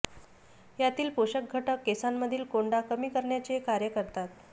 यातील पोषक घटक केसांमधील कोंडा कमी करण्याचे कार्य करतात